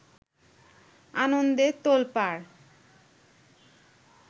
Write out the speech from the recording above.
আনন্দে তোল্পাড়